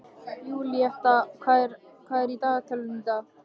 Júlíetta, hvað er í dagatalinu í dag?